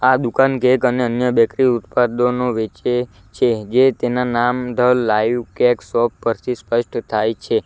આ દુકાન કેક અને અન્ય બેકરી ઉત્પાદનો વેચે છે જે તેના નામ ધ લાઈવ કેક શોપ પરથી સ્પષ્ટ થાય છે.